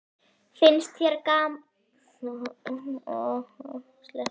Finnst þér það sanngjarnt?